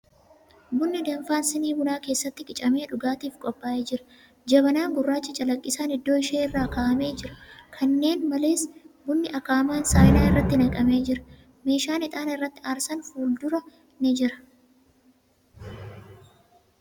Bunni danfaan sinii bunaa keessatti qicamee dhugaatiif qophaa'ee jira. Jabanaan gurrachi calaqqisaan iddoo ishee irra kaa'amee jira. Kanneen malees, bunni akaa'amaan saayinaa irratti naqamee jira. Meeshaan ixaana irratti aarsan fuulduraan ni jira.